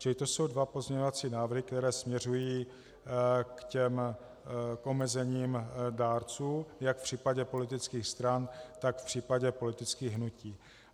Čili to jsou dva pozměňovací návrhy, které směřují k těm omezením dárců jak v případě politických stran, tak v případě politických hnutí.